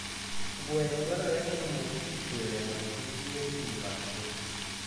Gweno dwarore ni omodh pi pile mondo kik riyo pii makgi.